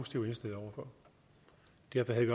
jeg godt